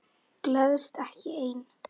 Gleðst ekki ein.